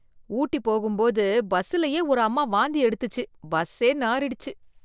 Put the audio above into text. ஊட்டி போகும்போது பஸ்ஸுலயே ஒரு அம்மா வாந்தி எடுத்துச்சு பஸ்ஸே நாறிடுச்சு.